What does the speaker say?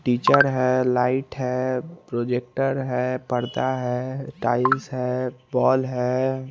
Teacher है light है projector है पर्दा है टाइलस है बॉल है।